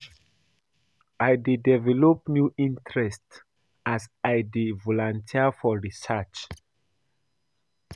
I dey develop new interest as I dey volunteer for research.